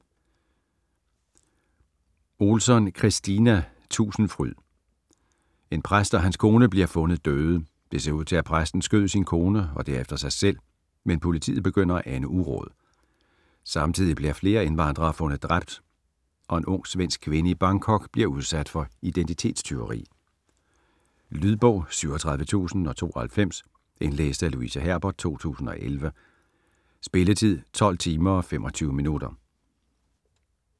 Ohlsson, Kristina: Tusindfryd En præst og hans kone bliver fundet døde. Det ser ud til, at præsten skød sin kone og derefter sig selv, men politiet begynder at ane uråd. Samtidig bliver flere indvandrere fundet dræbt og en ung svensk kvinde i Bangkok bliver udsat for identitetstyveri. Lydbog 37092 Indlæst af Louise Herbert, 2011. Spilletid: 12 timer, 25 minutter.